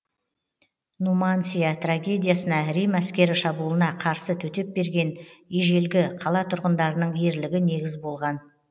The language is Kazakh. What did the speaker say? нумансия трагедиясына рим әскері шабуылына қарсы төтеп берген ежелгі қала тұрғындарының ерлігі негіз болған